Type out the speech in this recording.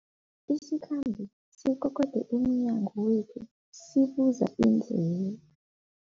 Isikhambi sikokode emnyango wethu sibuza indlela.